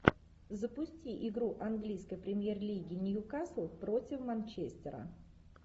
запусти игру английской премьер лиги ньюкасл против манчестера